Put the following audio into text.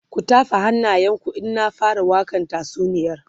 ku tafa hannayen ku in na fara wakan tatsuniyar